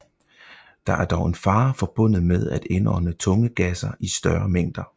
Der er dog en fare forbundet med at indånde tunge gasser i større mængder